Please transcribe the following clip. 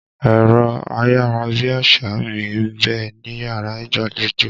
Ẹ̀rọ ayárabíàṣá mi ń bẹ níyàrá ìgbàlejò.